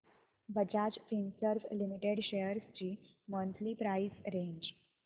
Bajaj Finserv limited shares ची monthly price range